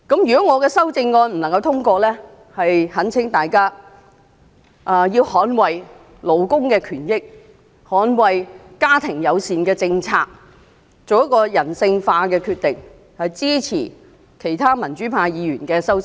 如果我的修正案不獲通過，那懇請大家捍衞勞工權益，捍衞家庭友善政策，作出人性化的決定，支持其他民主派議員的修正案。